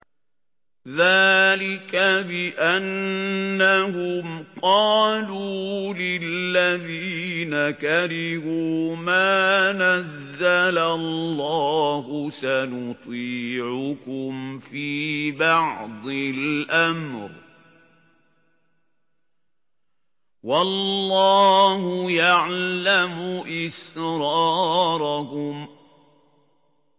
ذَٰلِكَ بِأَنَّهُمْ قَالُوا لِلَّذِينَ كَرِهُوا مَا نَزَّلَ اللَّهُ سَنُطِيعُكُمْ فِي بَعْضِ الْأَمْرِ ۖ وَاللَّهُ يَعْلَمُ إِسْرَارَهُمْ